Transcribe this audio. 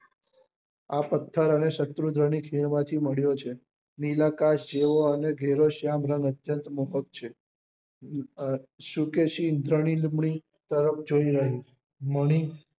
આ પત્થર અને શત્રુંજ્ય નાં ખેન માં થી મળ્યો છે નીલાકાશ જેવો ને અને ઘેરો શ્યામ રંગ અત્યંત મોહક છે શુકેશી ઈન્દ્રની જોઈ રહી મણી